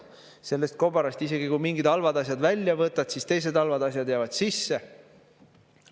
Kui sellest kobarast isegi mingid halvad asjad välja võtad, siis teised halvad asjad jäävad sisse.